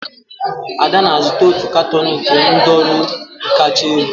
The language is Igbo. Ada na-azụta otu katuun nke nudulu kacha elu.